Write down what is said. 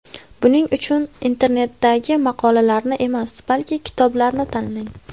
Buning uchun internetdagi maqolalarni emas, balki kitoblarni tanlang.